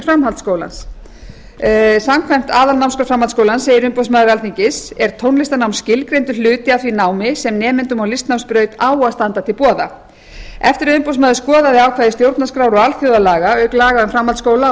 rekstur framhaldsskóla samkvæmt aðalnámskrá framhaldsskólans segir umboðsmaður alþingis er tónlistarnám skilgreindur hluti af því námi sem nemendum á listnámsbraut á að standa til boða eftir að umboðsmaður skoðaði ákvæði stjórnarskrár og alþjóðalaga auk laga um framhaldsskóla og